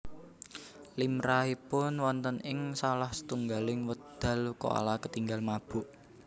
Limrahipun wonten ing salah setunggaling wekdal koala ketingal mabuk